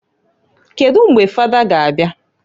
Kedu mgbe fada ga abia?